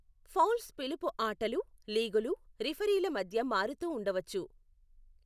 Fowls పిలుపు ఆటలు, లీగులు, రిఫరీల మధ్య మారుతూ ఉండవచ్చు.